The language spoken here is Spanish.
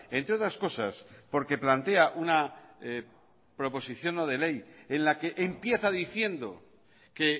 entre otras cosas porque plantea una proposición no de ley en la que empieza diciendo que